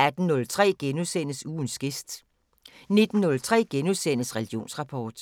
18:03: Ugens gæst * 19:03: Religionsrapport *